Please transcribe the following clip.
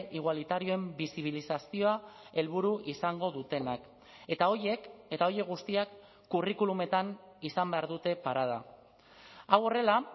igualitarioen bisibilizazioa helburu izango dutenak eta horiek eta horiek guztiak curriculumetan izan behar dute parada hau horrela